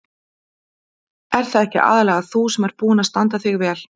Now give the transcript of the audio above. Ert það ekki aðallega þú sem ert búin að standa þig vel?